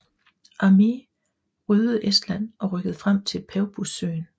Armee ryddede Estland og rykkede frem til Peipus søen